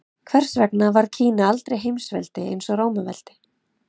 Hvers vegna varð Kína aldrei heimsveldi eins og Rómaveldi?